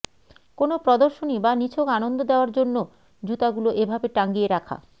কোনো প্রদর্শনী বা নিছক আনন্দ দেওয়ার জন্য জুতাগুলো এভাবে টাঙিয়ে রাখা